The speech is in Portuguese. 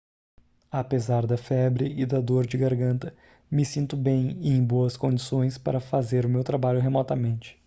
apesar da febre e da dor de garganta me sinto bem e em boas condições para fazer o meu trabalho remotamente